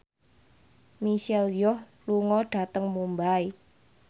Michelle Yeoh lunga dhateng Mumbai